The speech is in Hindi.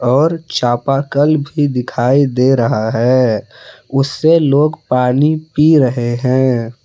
और चापाकल भी दिखाई दे रहा है उससे लोग पानी पी रहे हैं।